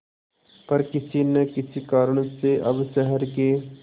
पर किसी न किसी कारण से अब शहर के